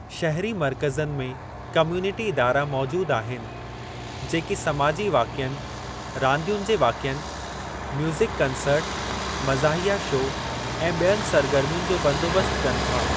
शहिरी मर्कज़नि में कम्युनिटी इदारा मौजूदु आहिनि जेकी समाजी वाक़िअनि, रांदियुनि जे वाक़िअनि, म्यूज़िक कंसर्ट, मज़ाहिया शो ऐं ॿियनि सरगर्मियुनि जो बंदोबस्तु कनि था।